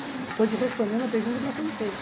Estou te respondendo a pergunta que você me fez.